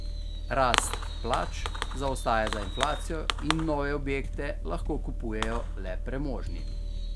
Rast plač zaostaja za inflacijo in nove objekte lahko kupujejo le premožni.